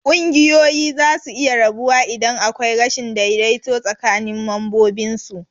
Kunguyoyi zasu iya rabuwa idan akwai rashin daidaito tsakinin mambobinsu.